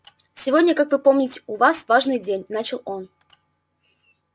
сегодня как вы помните у нас важный день начал он